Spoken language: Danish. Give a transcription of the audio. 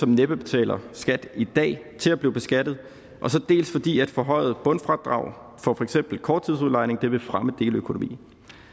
næppe betaler skat i dag til at blive beskattet dels fordi et forhøjet bundfradrag for for eksempel korttidsudlejning vil fremme deleøkonomien